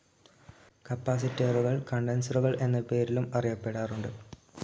കപ്പാസിറ്ററുകൾ കണ്ടൻസറുകൾ എന്ന പേരിലും അറിയപ്പെടാറുണ്ട്.